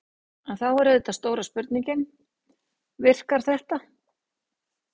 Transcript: En þá er auðvitað stóra spurningin: Virkar þetta?